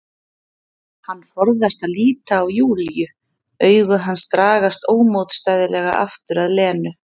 Hann forðast að líta á Júlíu, augu hans dragast ómótstæðilega aftur að Lenu.